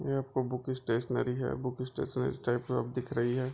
ये book stationery है book stationery type सब दिख रही है।